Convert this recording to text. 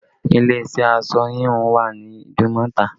Ilé iṣẹ́ aṣọ híhun wà ní Idumota